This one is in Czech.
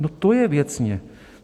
No to je věcně.